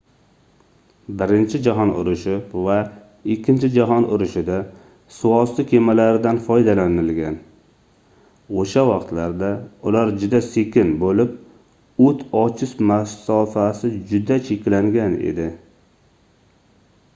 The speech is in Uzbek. birinchi jahon urushi va ikkinchi jahon urushida suvosti kemalaridan foydalanilgan oʻsha vaqtlarda ular juda sekin boʻlib oʻt ochish masofasi juda cheklangan edi